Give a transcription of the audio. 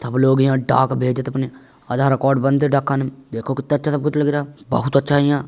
सब लोग यहाँ डाक भेजत अपने आधारकार्ड बनते डाकखाने में देखो कितना अच्छा सब कुछ लग रहा बहुत अच्छा यहाँ --